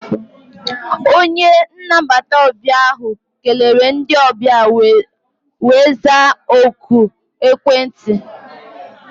Onye nnabata ọbịa ahụ kelere ndị ọbịa wee zaa oku ekwentị.